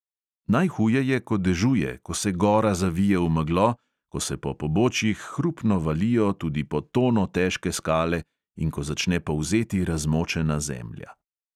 Najhuje je, ko dežuje, ko se gora zavije v meglo, ko se po pobočjih hrupno valijo tudi po tono težke skale in ko začne polzeti razmočena zemlja.